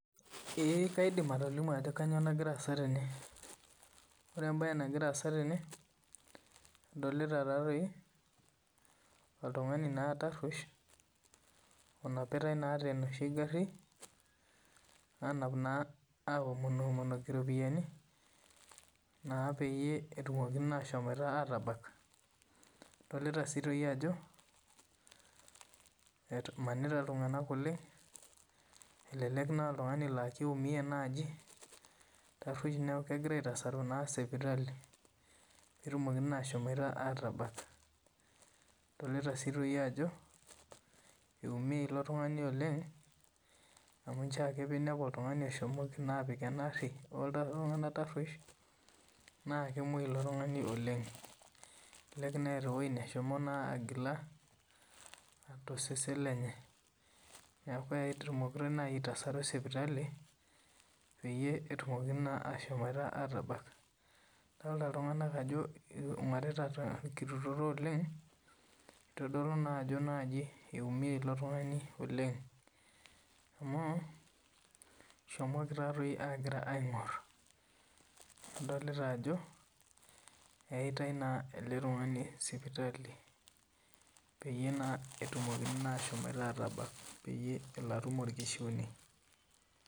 Ee kaidim atolimu Ajo kainyio nagira asaa tene ore entoki nagira asaa tene nadolita oltung'ani taruesh onapitai tenoshi gari onapitai oomonoki ropiani naa peyie etumoki ashomo atabak adolita sii Ajo emanita iltung'ana oleng elek aa oltung'ani laa kitumie naaji taruesh neeku kegirai aitasaru sipitali petumokini ashom atabak adolita sii Ajo etumie elo tung'ani oleng amu njoo ake pinepu oltung'ani oshomoki apik ena gari oltung'ana taruesh naa kemuoi elo tung'ani oleng kelelek etaa ewueji nehomo agila tosesen lenye neeku ketasaruni sipitalini peyie etumokini ashom atabak adolita iltung'ana Ajo eingorita torkitutoto oleng neitodolu naa Ajo naaji etumie elo tung'ani oleng amu eshomoki taadoi aing'or adolita Ajo eyatai ele tung'ani sipitali peyie naa etumokini ashom atabak peelo atum orkishiune